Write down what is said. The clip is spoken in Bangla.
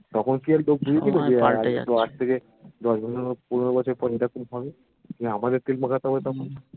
হ্যা তখন কি হতো দশ বছর পনেরো বছর পর হবে আমাদের তেল মাখাতে হবে